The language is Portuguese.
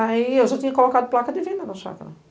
Aí, eu já tinha colocado placa de venda na chácara.